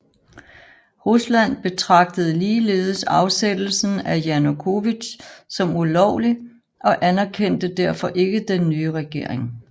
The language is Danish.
Rusland betragtede ligeledes afsættelsen af Janukovitj som ulovlig og anerkendte derfor ikke den nye regering